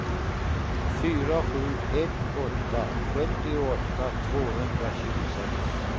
fyra sju ett åtta sjuttioåtta tvåhundratjugosex